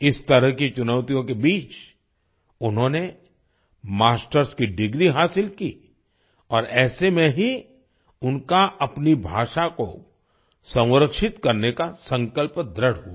इस तरह की चुनौतियों के बीच उन्होंने मास्टर्स की डिग्री हासिल की और ऐसे में ही उनका अपनी भाषा को संरक्षित करने का संकल्प दृढ़ हुआ